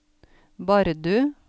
Bardu